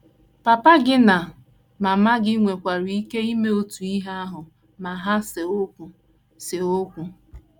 Papa gị na mama gị nwekwara ike ime otu ihe ahụ ma ha see okwu. see okwu.